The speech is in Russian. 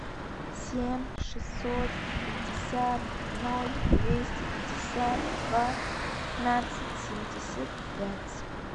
семь шестьсот пятьдесят ноль двести пятьдесят два пятнадцать семьдесят пять